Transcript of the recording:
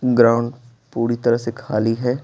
Ground पूरी तरह से खाली है।